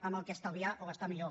en què estalviar o gastar millor